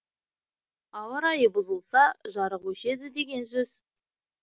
ауа райы бұзылса жарық өшеді деген сөз